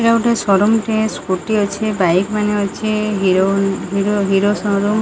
ଏଟା ଗୋଟେ ସୋରୁମ ଟେ ସ୍କୁଟି ଅଛେ ବାଇକ ମାନେ ଅଛେ Hero Honda Hero Hero showroom.